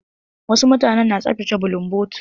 Wasu mutanen na tsaftace bulunbotu.